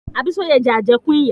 Abísóyẹ̀ jẹ àjẹ́kún ìyà.